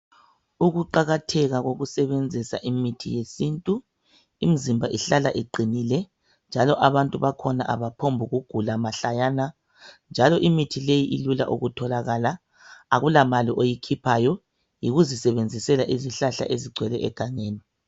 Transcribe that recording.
Ukuqakatheka kokusebenzisa imithi yesintu, imizimba ihlala iqinile njalo abantu bakhona abaphombukugula mahlayana njalo imithi leyi ilula ukutholakala. Akula mali oyikhiphayo, yikuzisebenzisela izihlahla ezigcwele egangeni.